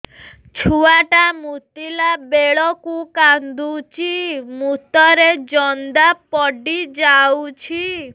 ଛୁଆ ଟା ମୁତିଲା ବେଳକୁ କାନ୍ଦୁଚି ମୁତ ରେ ଜନ୍ଦା ପଡ଼ି ଯାଉଛି